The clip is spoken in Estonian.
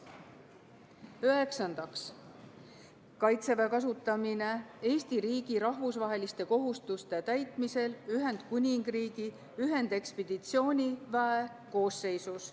Üheksandaks, Kaitseväe kasutamine Eesti riigi rahvusvaheliste kohustuste täitmisel Ühendkuningriigi ühendekspeditsiooniväe koosseisus.